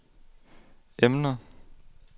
emner